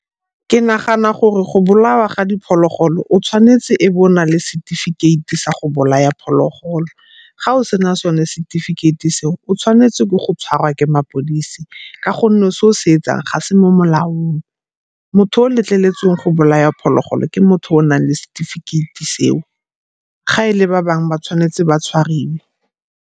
Ke nagana gore go bolawa ga diphologolo o tshwanetse e be o na le setefikeiti sa go bolaya phologolo. Ga o sena sone setifikeiti seo o tshwanetse ke go tshwarwa ke mapodisi ka gonne o se o se yetsang ga se mo molaong. Motho o letleletsweng go bolaya phologolo ke motho yo o nang le setefikeiti seo, ga e le ba bangwe ba tshwanetse ba tshwariwe.